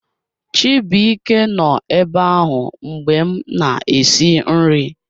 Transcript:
Chibuike nọ ebe ahụ mgbe m na-esi nri